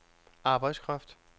arbejdskraft